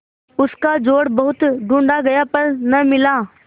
उसका जोड़ बहुत ढूँढ़ा गया पर न मिला